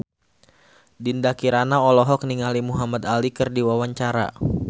Dinda Kirana olohok ningali Muhamad Ali keur diwawancara